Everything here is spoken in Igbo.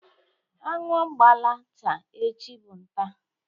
Anụ gbala taa, echi bụ nta